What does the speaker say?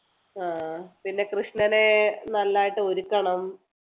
ആഹ് പിന്നെ കൃഷ്ണനെ നല്ലതായിട്ട് ഒരുക്കണം